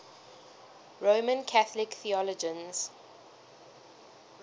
roman catholic theologians